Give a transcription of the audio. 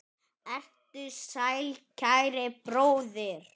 Vertu sæll, kæri bróðir.